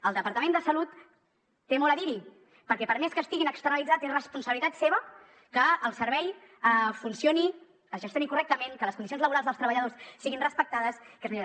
el departament de salut té molt a dir hi perquè per més que estiguin externalitzats és responsabilitat seva que el servei funcioni es gestioni correctament que les condicions laborals dels treballadors siguin respectades que es millori